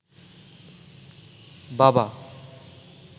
বাবা